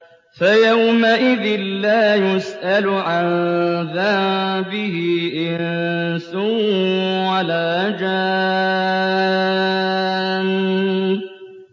فَيَوْمَئِذٍ لَّا يُسْأَلُ عَن ذَنبِهِ إِنسٌ وَلَا جَانٌّ